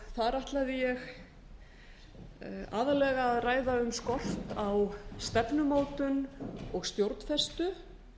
þar ætlaði ég aðallega að ræða um skort á stefnumótun og stjórnfestu